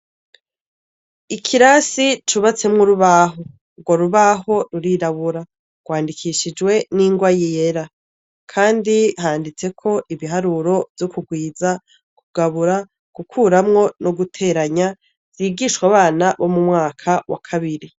Ikirasi cubatsemwo urubaho, urwo rubaho rurirabura rwandikishijwe n'ingwa yera, kandi handitseko ibiharuro vyo kugwiza, kugabura, gukuramwo, guteranya vyigishwa abana nibo M’umwaka kabiri.